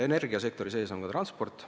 Energiasektori sees on ka transport.